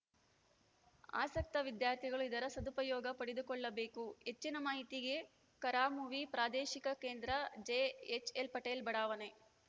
ಆಸಕ್ತ ವಿದ್ಯಾರ್ಥಿಗಳು ಇದರ ಸದುಪಯೋಗ ಪಡೆದುಕೊಳ್ಳಬೇಕು ಹೆಚ್ಚಿನ ಮಾಹಿತಿಗೆ ಕರಾಮುವಿ ಪ್ರಾದೇಶಿಕ ಕೇಂದ್ರ ಜೆಎಚ್‌ಎಲ್ ಪಟೇಲ್‌ ಬಡಾವಣೆ